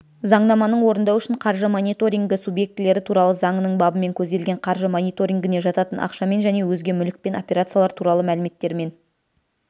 заңнаманың орындау үшін қаржы мониторингі субъектілері туралы заңының бабымен көзделген қаржы мониторингіне жататын ақшамен және өзге мүлікпен операциялар туралы мәліметтер мен